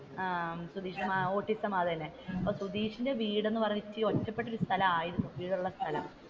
autism അത് തന്നെ സുതീഷിന്റെ വീട് എന്ന് പറയാൻ നേരം ഇത്തിരി ഒറ്റപ്പെട്ട ഒരു സ്ഥലമായിരുന്നു വീട് ഉള്ള സ്ഥലം